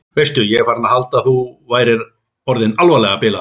Veistu. ég var farin að halda að þú værir orðinn alvarlega bilaður!